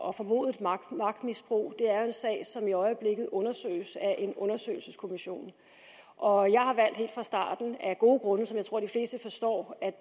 og formodet magtmisbrug er jo en sag som i øjeblikket undersøges af en undersøgelseskommission og jeg har valgt helt fra starten af gode grunde som jeg tror de fleste forstår